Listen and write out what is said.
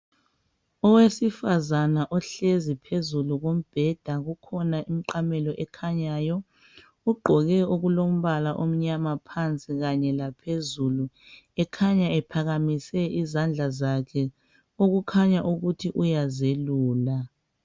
Owesifazana ohlezi phezulu kombheda, kukhona imiqamelo ekhanyayo, ugqoke okulombala omnyama phansi kanye laphezulu, ekhanya ephakamise izandla zakhe okukhanya ukuthi uyazelula